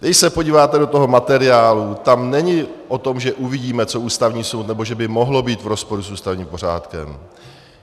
Když se podíváte do toho materiálu, tam není o tom, že uvidíme, co Ústavní soud, nebo že by mohlo být v rozporu s ústavním pořádkem.